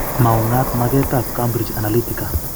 Maungat maget ab Cambrige Analytica.